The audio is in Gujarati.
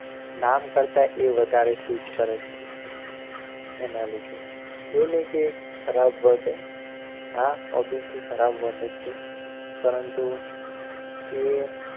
નામ કરતાં એ વધારે suit કરે છે એના લીધે એવું નહિ કે ખરાબ word આહ obviously ખરાબ word જ છે પરંતુ એ